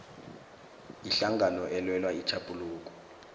ihlangano elwela itjhaphuluko